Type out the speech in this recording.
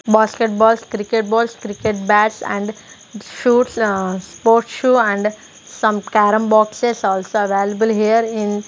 basket balls cricket balls cricket bats and shoots uh sports shoe and some carrom boxes also available here in --